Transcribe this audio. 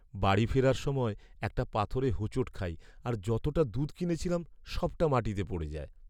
বাড়ি ফেরার সময় একটা পাথরে হোঁচট খাই আর যতটা দুধ কিনেছিলাম সবটা মাটিতে পড়ে যায়।